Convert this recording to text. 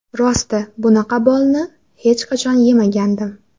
Rosti, bunaqa bolni hech qachon yemagandim.